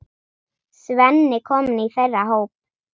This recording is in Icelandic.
Svenni kominn í þeirra hóp.